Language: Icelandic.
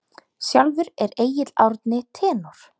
Sjálfur er Egill Árni tenór.